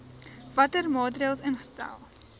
watter maatreëls ingestel